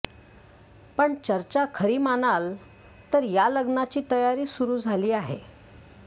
पण चर्चा खरी मानाल तर या लग्नाची तयारी सुरु झाली आहे